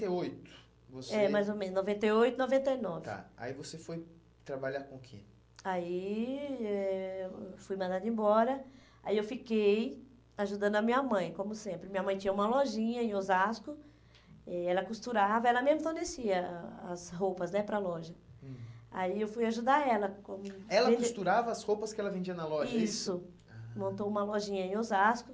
e oito, você... É, mais ou menos noventa e oito e noventa e nove. Tá, aí você foi trabalhar com o que? Aí eh eu fui mandada embora, aí eu fiquei ajudando a minha mãe, como sempre, minha mãe tinha uma lojinha em Osasco. Eh ela costurava ela mesmo oferecia a as roupas né para loja, hum, aí eu fui ajudar ela como... Ela costurava as roupas que ela vendia na loja, é isso? Isso, montou uma lojinha em Osasco.